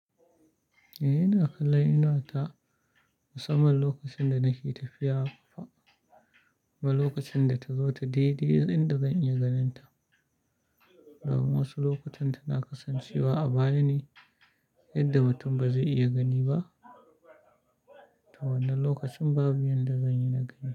Eh, ina kalla inuwata musamman lokacin da nake tafiya fa, kuma lokacin da ta zo ta dai-dai inda zan iya ganin ta. Domin wasu lokutan tana kasancewa a baya ne yadda mutum ba zai iya gani ba, to wannan lokacin babu inda zan iya na gani.